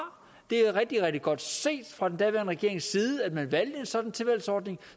det er rigtig rigtig godt set fra den daværende regerings side at man valgte en sådan tilvalgsordning